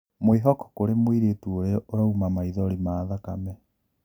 Mwihoko kũri mũiritu ũria ũrauma maithori ma thakame.